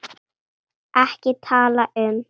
EKKI TALA UM